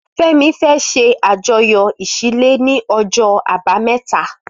Femi fẹ̀ ṣé àjọyọ iṣilé ni ọjọ àbàámẹ̀tá